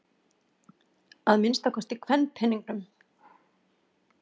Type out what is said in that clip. Að minnsta kosti kvenpeningnum.